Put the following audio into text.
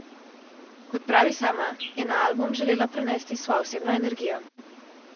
Kot pravi sama, je na album želela prenesti svojo osebno energijo.